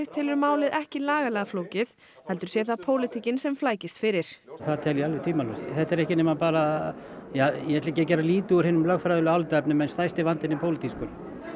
telur málið ekki lagalega flókið heldur sé það pólitíkin sem flækist fyrir það tel ég alveg tvímælalaust þetta er ekki nema bara ja ég ætla ekki að gera lítið úr hinum lögfræðilegum álitaefnum en stærsti vandinn er pólitískur